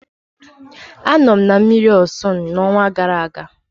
Anọ m na mmiri Ọsun n'ọnwa gara aga.